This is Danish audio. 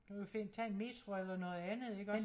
Du kan jo finde tage en metro eller noget andet iggås